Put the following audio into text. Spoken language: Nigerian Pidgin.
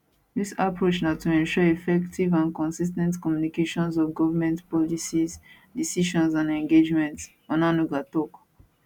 dis approach na to ensure effective and consis ten t communication of govment policies decisions and engagements onanuga tok